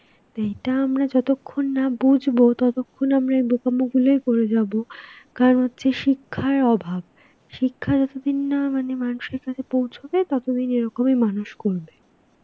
তো এটা আমরা যতক্ষণ না বুঝবো ততক্ষণ আমরা এই বোকামো গুলোই করে যাব. কারণ হচ্ছে শিক্ষার অভাব. শিক্ষা যতদিন না অ্যাঁ মানে মানুষের কাছে পৌঁছবে, ততদিন এরকমই মানুষ করবে.